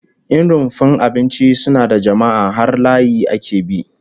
In rumfar abinci suna da jama'a, har layi ake bi